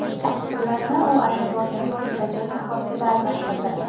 Pullarni u aeroportning o‘zidagi shoxobchada almashtirdi.